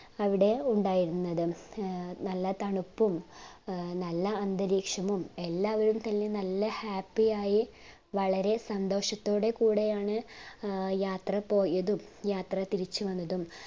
അവിടെ ഉണ്ടായിരുന്നത് ഏർ നല്ല തണുപ്പും ഏർ നല്ല അന്തരീക്ഷവും എല്ലാവരും തന്നെ നല്ല happy യായി വളരെ സന്തോഷത്തെ കൂടെയാണ് യാത്ര പോയതും യാത്ര തിരിച്ചു വന്നതും